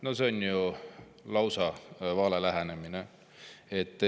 No see on ju lausa vale lähenemine.